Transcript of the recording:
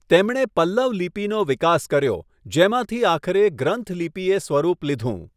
તેમણે પલ્લવ લિપિનો વિકાસ કર્યો, જેમાંથી આખરે ગ્રંથ લિપિએ સ્વરૂપ લીધું.